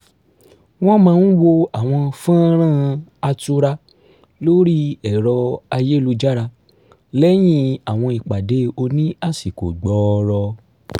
wọ́n máà n wo àwọn fọ́nrán -án atura lórí ẹ̀rọ ayélujára lẹ́yìn àwọn ìpàdé oní àsìkò gbọọrọ